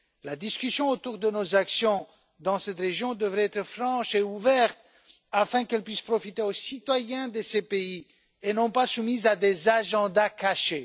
La discussion autour de nos actions dans cette région devrait être franche et ouverte, afin qu'elle puisse profiter aux citoyens de ces pays et non pas être soumise à des objectifs cachés.